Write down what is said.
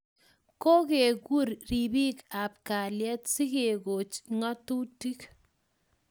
kokegur ribiik ab kalyet si kekoch ngatutik